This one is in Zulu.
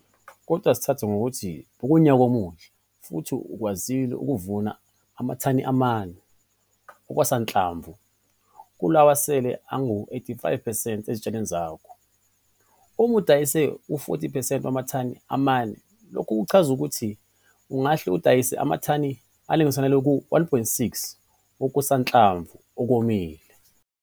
Kodwa ake sithathe ngokuthi bekuwunyaka omuhle futhi ukwazile ukuvuna amathani amane okusanhlamvu kulawo asele angama-85 percent ezitshalo zakho. Uma udayisa u-40 percent wamathani amane, lokhu kuzochaza ukuthi ungahle udayise amathani alinganiselwa ku-1,6 wokusanhlamvu okomile.